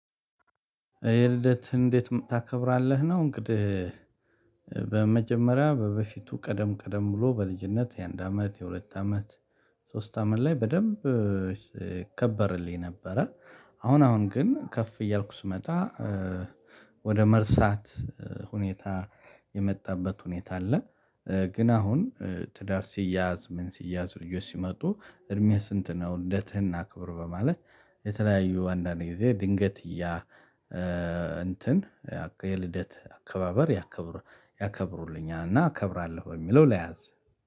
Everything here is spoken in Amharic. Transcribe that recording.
የልደት እንዴት ታከብራለህ ነው እንግዲህ? በመጀመሪያ በበፊቱ ቀደም ቀደም ብሎ በልጅነት የአንድ አመት የሁለት አመት ሶስት አመት ላይ በደንብ ይከብርልኝ ነበረ አሁን አሁን ግን ከፍ እያልኩ ስመጣ ወደ መርሳት ሁኔታ የመጣበት ሁኔታ አለ ግን አሁን ትደር ሲያዝ ምን ሲያዝ ልጆች ሲመጡ እድሜህ ስንት ነው ልደትህን እናክብር በማለት የተለያዩ አንዳንድ ጊዜ ድንግት እያ እንትን የልደት አከባበር ያከብሩልኛል እና አከበራለሁ በሚለው ልያዝ